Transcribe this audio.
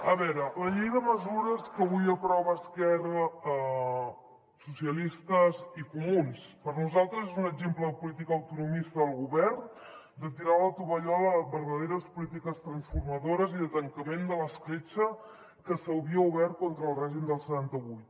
a veure la llei de mesures que avui aproven esquerra socialistes i comuns per nosaltres és un exemple de política autonomista del govern de tirar la tovallola a verdaderes polítiques transformadores i de tancament de l’escletxa que s’havia obert contra el règim del setanta vuit